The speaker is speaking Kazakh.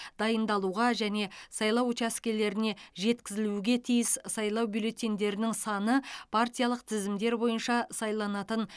дайындалуға және сайлау учаскелеріне жеткізілуге тиіс сайлау бюллетеньдерінің саны партиялық тізімдер бойынша сайланатын